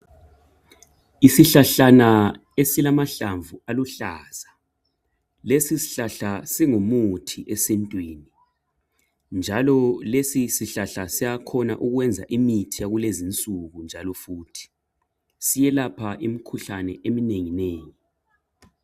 Isihlahlana esilamahlamvu aluhlaza. Lesi sihlahla singumuthi esintwini, njalo lesi sihlahla siyakhona ukwenza imithi yakulezinsuku njalo futhi siyelapha imikhuhlane eminenginengi.